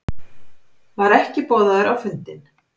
Var ekki boðaður á fundinn